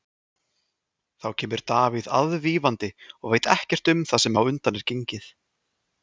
Þá kemur Davíð aðvífandi og veit ekkert um það sem á undan er gengið.